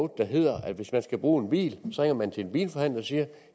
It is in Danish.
der hedder at hvis man skal bruge en bil så ringer man til en bilforhandler og siger